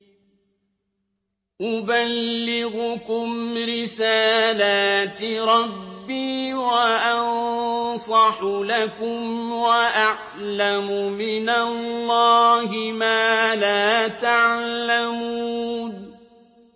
أُبَلِّغُكُمْ رِسَالَاتِ رَبِّي وَأَنصَحُ لَكُمْ وَأَعْلَمُ مِنَ اللَّهِ مَا لَا تَعْلَمُونَ